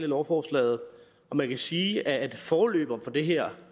lovforslaget man kan sige at en forløber for det her